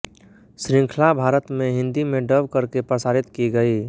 श्रृंखला भारत में हिंदी में डब करके प्रसारित की गयी